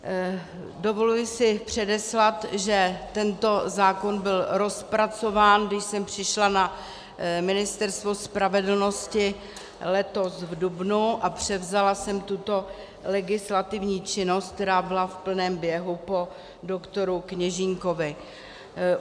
Dovoluji si předeslat, že tento zákon byl rozpracován, když jsem přišla na Ministerstvo spravedlnosti letos v dubnu a převzala jsem tuto legislativní činnost, která byla v plném běhu, po doktoru Kněžínkovi.